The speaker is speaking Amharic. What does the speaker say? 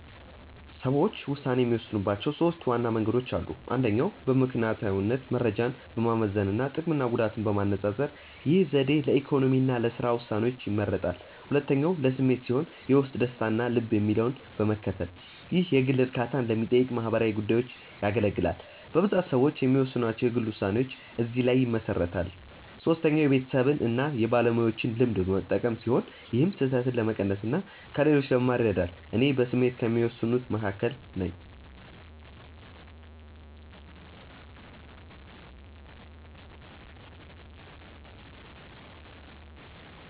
ሰዎች ውሳኔ የሚወስኑባቸው ሦስት ዋና መንገዶች አሉ። አንደኛው በምክንያታዊነት መረጃን በማመዛዘን እና ጥቅምና ጉዳትን በማነፃፀር። ይህ ዘዴ ለኢኮኖሚ እና ለሥራ ውሳኔዎች ይመረጣል። ሁለተኛው በስሜት ሲሆን የውስጥ ደስታን እና ልብ የሚለውን በመከተል። ይህ የግል እርካታን ለሚጠይቁ ማህበራዊ ጉዳዮች ያገለግላል። በብዛት ሰዎች የሚወስኗቸው የግል ውሳኔዎች እዚህ ላይ ይመሰረታሉ። ሶስተኛው የቤተሰብን እና የባለሙያዎችን ልምድ በመጠቀም ሲሆን ይህም ስህተትን ለመቀነስ እና ከሌሎች ለመማር ይረዳል። እኔ በስሜት ከሚወስኑት መካከል ነኝ።